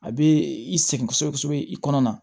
A bɛ i sɛgɛn kosɛbɛ kosɛbɛ i kɔnɔ na